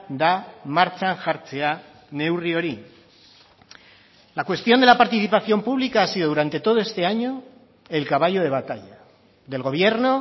da martxan jartzea neurri hori la cuestión de la participación pública ha sido durante todo este año el caballo de batalla del gobierno